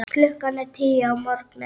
Klukkan er tíu að morgni.